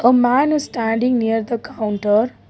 a man standing near the counter.